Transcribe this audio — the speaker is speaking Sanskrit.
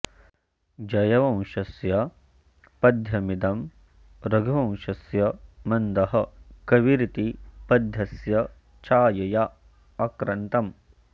जयवंशस्य पद्यमिदं रघुवंशस्य मन्दः कविरिति पद्यस्य छायया आक्रन्तम्